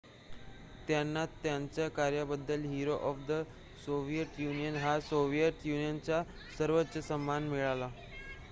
"त्यांना त्यांच्या कार्याबद्दल "hero of the Soviet Union" हा सोव्हिएत युनियनचा सर्वोच्च सन्मान मिळाला.